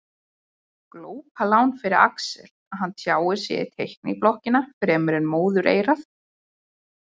Glópalán fyrir Axel að hann tjáir sig í teikniblokkina fremur en móðureyrað.